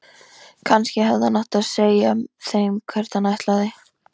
Kannski hefði hann átt að segja þeim hvert hann ætlaði.